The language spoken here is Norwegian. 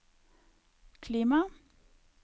klima